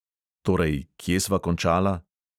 Torej, kje sva končala?